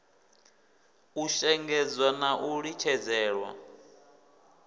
u shengedzwa na u litshedzelwa